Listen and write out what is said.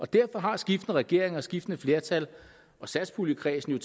derfor har skiftende regeringer skiftende flertal og satspuljekredsen jo